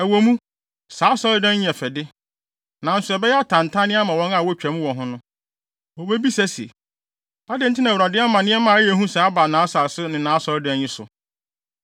Ɛwɔ mu, saa asɔredan yi yɛ fɛ de, nanso ɛbɛyɛ atantanne ama wɔn a wotwa mu wɔ ho no. Wobebisa se, ‘Adɛn nti na Awurade ama nneɛma a ɛyɛ hu sɛɛ aba nʼasase ne nʼAsɔredan yi so?’